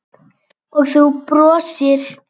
Og þú brosir.